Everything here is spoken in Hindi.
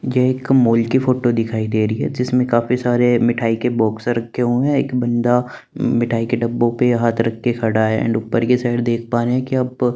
जे एक कम्बोल की फोटो दिखाई देरी है जिसमे काफी सारे मिठाई के बॉक्स रखे हुए एक बंदा मिठाई के डब्बो पे हाथ रख के खड़ा है अंड उपर की साइड देख पारे की आप--